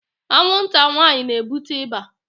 Anwụnta nwanyị na-ebute ịba